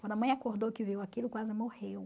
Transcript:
Quando a mãe acordou que viu aquilo, quase morreu.